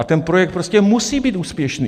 A ten projekt prostě musí být úspěšný.